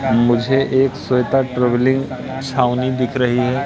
मुझे एक श्वेता ट्रैवलिंग छावनी दिख रही है।